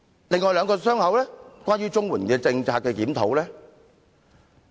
另外兩個"傷口"與檢討綜援政策有關。